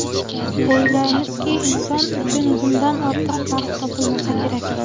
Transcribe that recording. O‘ylaymizki, inson uchun bundan ortiq baxt topilmasa kerak.